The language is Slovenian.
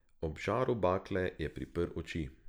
Ob žaru bakle je priprl oči.